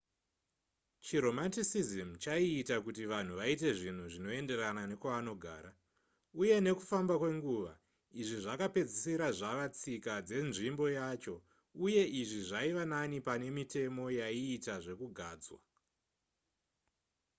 chiromanticism chaiita kuti vanhu vaite zvinhu zvinoenderana nekwavanogara uye nekufamba kwenguva izvi zvakapedzesira zvava tsika dzenzvimbo yacho uye izvi zvaiva nani pane mitemo yaiita zvekugadzwa